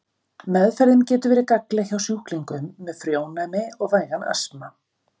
Meðferðin getur verið gagnleg hjá sjúklingum með frjónæmi og vægan astma.